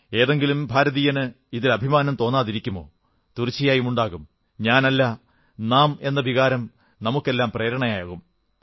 ഏതെങ്കിലും ഭാരതീയന് ഇതിൽ അഭിമാനം തോന്നാതിരിക്കുമോ തീർച്ചയായും ഉണ്ടാകും ഞാനല്ല നാം എന്ന വികാരം നമുക്കെല്ലാം പ്രേരണയാകും